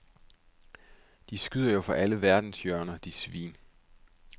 De skyder jo fra alle verdenshjørner, de svin.